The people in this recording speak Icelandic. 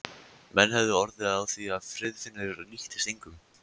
Menn höfðu orð á því að Friðfinnur líktist engum.